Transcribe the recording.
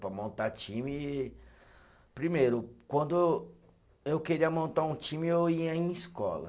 Para montar time, primeiro, quando eu queria montar um time, eu ia em escola.